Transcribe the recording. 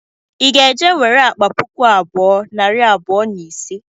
Ị ga-eje nwere akpa puku abụọ, nari abụọ na ise?.